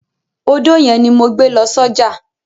Odó yẹn ni mo gbé lọ sọ́jà.